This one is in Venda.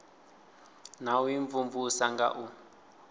na u imvumvusa nga u